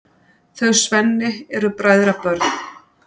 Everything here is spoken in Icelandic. Þau Svenni eru bræðrabörn.